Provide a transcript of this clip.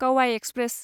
क'वाइ express